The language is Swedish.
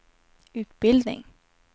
utbildning